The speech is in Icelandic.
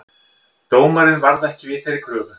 Dómarinn varð ekki við þeirri kröfu